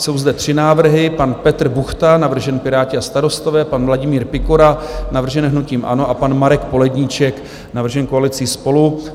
Jsou zde tři návrhy: pan Petr Buchta, navržen Piráti a Starostové, pan Vladimír Pikora, navržen hnutím ANO, a pan Marek Poledníček, navržen koalicí SPOLU.